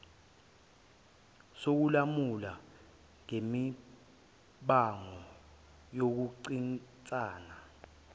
sokulamula ngemibango yokuncintisana